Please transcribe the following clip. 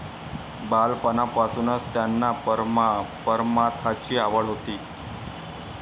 बालपणापासूनच त्यांना परमार्थाची आवड होती.